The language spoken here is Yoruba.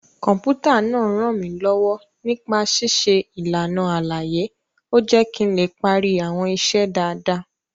Kọ̀m̀pútà náà rànmílọ́wọ́ nípa ṣíṣe ìlànà àlàyé, ó jé kí n lè parí àwọn iṣẹ́ dáadáa